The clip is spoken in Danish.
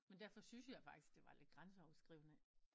Men derfor syntes jeg faktisk det var lidt grænseoverskridende